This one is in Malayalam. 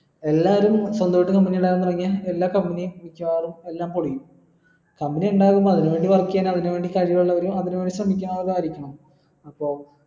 എല്ലാരും സ്വന്തമായിട്ട് company ഇടാൻ തുടങ്ങിയ എല്ലാ company യും മിക്യവാറും എല്ലാം പോളിയും company എന്തായാലും വളരും അതിന് വേണ്ടി work ചെയുന്ന അതിന് വേണ്ടി ശ്രമിക്കുന്നതായിരിക്കണം അപ്പൊ